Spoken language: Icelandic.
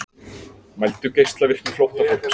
Mældu geislavirkni flóttafólks